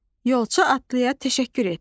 Yolçu atlıya təşəkkür etdi.